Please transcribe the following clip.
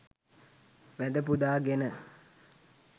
වැඳ පුදා ගෙන